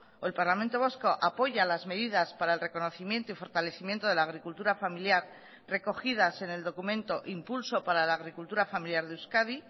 o el parlamento vasco apoya las medidas para el reconocimiento y fortalecimiento de la agricultura familiar recogidas en el documento impulso para la agricultura familiar de euskadi